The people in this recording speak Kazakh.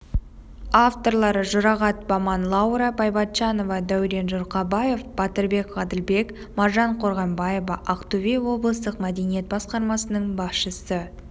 авторлары жұрағат баман лаура байбатчанова дәурен жұрхабаев батырбек ғаділбек маржан қорғанбаева ақтөбе облыстық мәдениет басқармасының басшысы